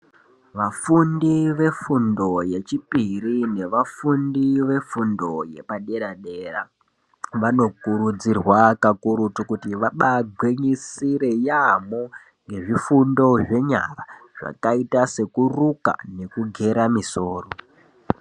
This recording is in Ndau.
Vafundi vefundo yechipiri nevafundi vefundo yepadera dera vanokurudzirwa kakurutu kuti vabagwinyisire yamho nezvifundo zvenyara zvakaita sekuruka nekugera misoro.